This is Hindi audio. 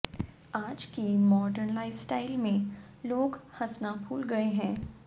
आज की मॉर्डन लाइफस्टाइल में लोग हंसना भूल गए है